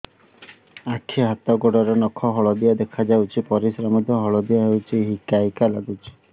ଆଖି ହାତ ଗୋଡ଼ର ନଖ ହଳଦିଆ ଦେଖା ଯାଉଛି ପରିସ୍ରା ମଧ୍ୟ ହଳଦିଆ ହଉଛି ହିକା ହିକା ଲାଗୁଛି